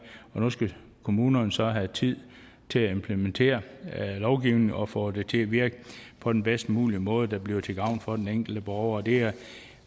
og nu skal kommunerne så have tid til at implementere lovgivningen og få det til at virke på den bedst mulige måde der bliver til gavn for den enkelte borger det er